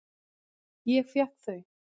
Ég fékk þau.